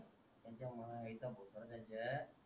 त्यांच्या माय चा भोसडा त्यांचा